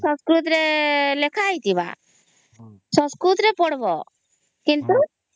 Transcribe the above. ସଂସ୍କୃତ ରେ ଲେଖା ହେଇଥିବା ସଂସ୍କୃତ ରେ ପଢ଼ ବୋ କିନ୍ତୁ